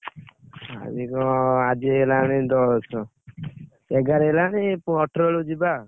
ଅ ଆଜି ହେଲାଣି ଦଶ, ଏଗାର ହେଲାଣି ଅଠର ବେଳକୁ ଯିବା।